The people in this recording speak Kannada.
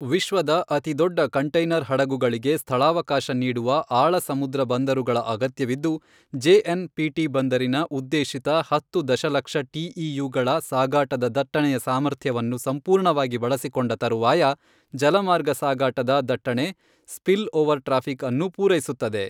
ವಿಶ್ವದ ಅತಿದೊಡ್ಡ ಕಂಟೈನರ್ ಹಡಗುಗಳಿಗೆ ಸ್ಥಳಾವಕಾಶ ನೀಡುವ ಆಳ ಸಮುದ್ರ ಬಂದರುಗಳ ಅಗತ್ಯವಿದ್ದು, ಜೆಎನ್ ಪಿಟಿ ಬಂದರಿನ ಉದ್ದೇಶಿತ ಹತ್ತು ದಶಲಕ್ಷ ಟಿಇಯುಗಳ ಸಾಗಾಟದ ದಟ್ಟಣೆಯ ಸಾಮರ್ಥ್ಯವನ್ನು ಸಂಪೂರ್ಣವಾಗಿ ಬಳಸಿಕೊಂಡ ತರುವಾಯ ಜಲ ಮಾರ್ಗ ಸಾಗಾಟದ ದಟ್ಟಣೆ ಸ್ಪಿಲ್ ಓವರ್ ಟ್ರಾಫಿಕ್ ಅನ್ನೂ ಪೂರೈಸುತ್ತದೆ.